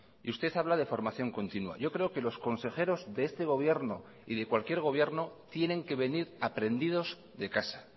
y usted habla de formación continua yo creo que los consejeros de este gobierno y de cualquier gobierno tienen que venir aprendidos de casa